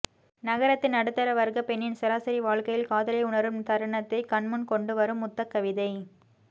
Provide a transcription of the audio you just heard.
நகரத்து நடுத்தரவர்க்கப் பெண்ணின் சராசரி வாழ்க்கையில் காதலை உணரும் தருணத்தைக் கண்முன் கொண்டுவரும் முத்தக் கவிதை